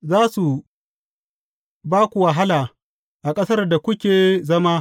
Za su ba ku wahala a ƙasar da kuke zama.